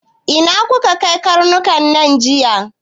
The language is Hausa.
Ina kuka kai karnukan nan jiya!